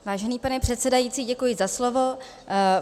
Vážený pane předsedající, děkuji za slovo.